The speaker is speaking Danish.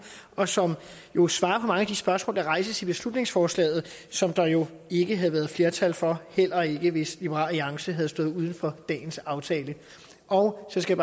og som jo svarer på mange af de spørgsmål der rejses i beslutningsforslaget som der jo ikke havde været flertal for heller ikke hvis liberal alliance havde stået uden for dagens aftale og så skal